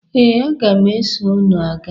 Ee, aga m eso unu ga.